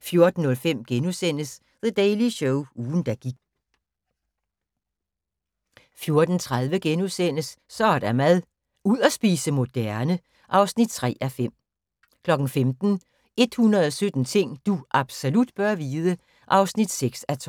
14:05: The Daily Show – ugen der gik * 14:30: Så er der mad - ud at spise moderne (3:5)* 15:00: 117 ting du absolut bør vide (6:12)